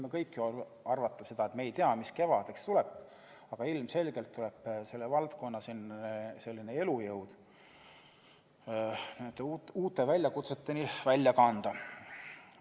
Me keegi ju ei tea, mis kevadeks saab, aga ilmselgelt tuleb selle valdkonna elujõud uute väljakutseteni välja kanda.